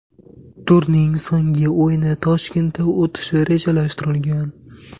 Turning so‘nggi o‘yini Toshkentda o‘tishi rejalashtirilgan.